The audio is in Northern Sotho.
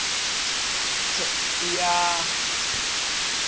th e a ya th